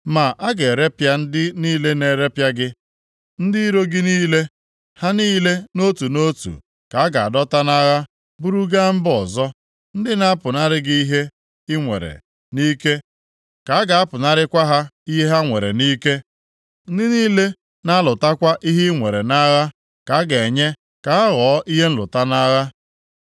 “ ‘Ma a ga-erepịa ndị niile na-eripịa gị; ndị iro gị niile, ha niile nʼotu nʼotu, ka a ga-adọta nʼagha buru gaa mba ọzọ. Ndị na-apụnara gị ihe i nwere nʼike ka a ga-apụnarakwa ha ihe ha nwere nʼike. Ndị niile na-alụtakwa ihe inwere nʼagha ka a ga-enye ka ha ghọọ ihe nlụta nʼagha.